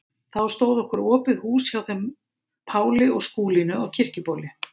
Þá stóð okkur opið hús hjá þeim Páli og Skúlínu á Kirkjubóli.